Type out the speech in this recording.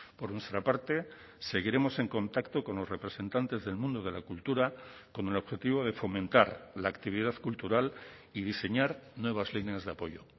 por nuestra parte seguiremos en contacto con los representantes del mundo de la cultura con el objetivo de fomentar la actividad cultural y diseñar nuevas líneas de apoyo